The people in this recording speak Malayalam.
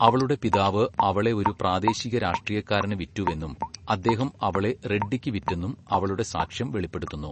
അവളുടെ പിതാവ് അവളെ ഒരു പ്രാദേശിക രാഷ്ട്രീയക്കാരന് വിറ്റുവെന്നും, അദ്ദേഹം അവളെ റെഡ്ഡിക്ക് വിറ്റെന്നും അവളുടെ സാക്ഷ്യം വെളിപ്പെടുത്തുന്നു.